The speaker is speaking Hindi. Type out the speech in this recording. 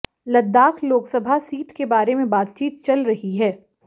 लद्दाख लोकसभा सीट के बारे में बातचीत चल रही है